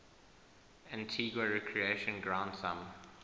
antigua recreation ground thumb